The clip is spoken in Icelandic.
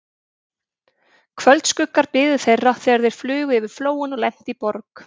Kvöldskuggar biðu þeirra, þegar þeir flugu yfir Flóann og lentu í Borg